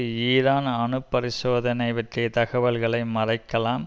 Iran அணு பரிசோதனை பற்றிய தகவல்களை மறைக்கலாம்